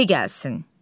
De gəlsin.